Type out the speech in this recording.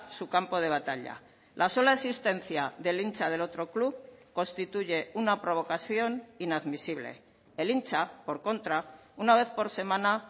su campo de batalla la sola existencia del hincha del otro club constituye una provocación inadmisible el hincha por contra una vez por semana